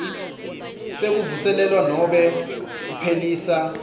sekuvuselelwa nobe kuphelisa